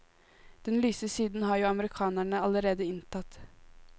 Den lyse siden har jo amerikanerne allerede inntatt.